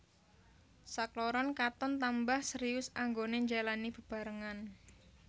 Sakloron katon tambah serius anggoné njalani bebarengan